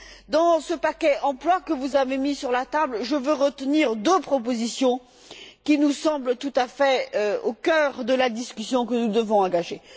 Dans ce paquet emploi que vous avez mis sur la table, je veux retenir deux propositions qui nous semblent tout à fait au cœur de la discussion que nous devons engager.